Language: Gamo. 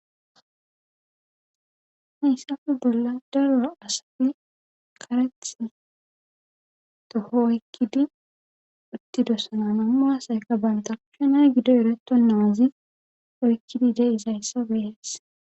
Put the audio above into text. hayssafe bolla darora asati karethi toho oykkidi uttidossananama asayka banta ushenay gido ereto naazi oykkidi deizayssa beyees